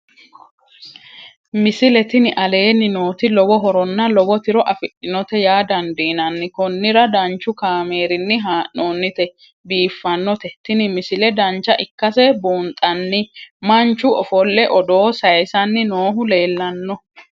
misile tini aleenni nooti lowo horonna lowo tiro afidhinote yaa dandiinanni konnira danchu kaameerinni haa'noonnite biiffannote tini misile dancha ikkase buunxanni manchu ofolle odooo saysanni noohu leelanno